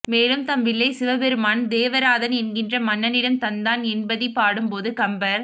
மேலும் தம் வில்லைச் சிவபெருமான் தேவராதன் என்கின்ற மன்னனிடம் தந்தான் என்பதிப் பாடும் போது கம்பர்